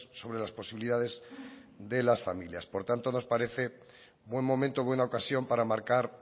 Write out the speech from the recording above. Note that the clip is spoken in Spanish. sobre las posibilidades de las familias por tanto nos parece buen momento buena ocasión para marcar